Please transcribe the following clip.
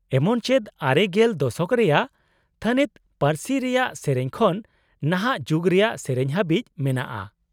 -ᱮᱢᱚᱱ ᱪᱮᱫ ᱙᱐ ᱫᱚᱥᱚᱠ ᱨᱮᱭᱟᱜ ᱛᱷᱟᱹᱱᱤᱛ ᱯᱟᱹᱨᱥᱤ ᱨᱮᱭᱟᱜ ᱥᱮᱹᱨᱮᱹᱧ ᱠᱷᱚᱱ ᱱᱟᱦᱟᱜ ᱡᱩᱜ ᱨᱮᱭᱟᱜ ᱥᱮᱹᱨᱮᱹᱧ ᱦᱟᱹᱵᱤᱡ ᱢᱮᱱᱟᱜ=ᱟ᱾